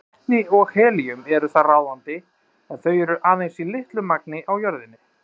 Vetni og helíum eru þar ráðandi en þau eru aðeins í litlu magni á jörðinni.